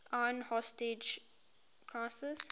iran hostage crisis